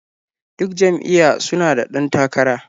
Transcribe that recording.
Duk jam'iyya su na da ɗan takara.